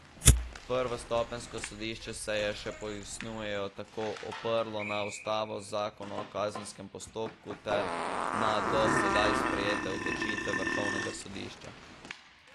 Prvostopenjsko sodišče se je, še pojasnjujejo, tako oprlo na ustavo, zakon o kazenskem postopku ter na do sedaj sprejete odločitve vrhovnega sodišča.